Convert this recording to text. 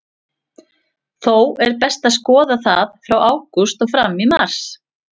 Þó er best að skoða það frá ágúst og fram í mars.